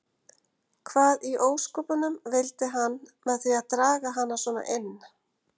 Hvað í ósköpunum vildi hann með því að draga hana svona inn.